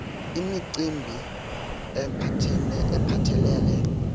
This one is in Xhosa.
c imicimbi ephathelele